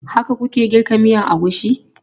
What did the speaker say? Haka ku ke girka miyan agushi?